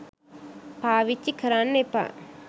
පාවිච්චි කරන්න එපා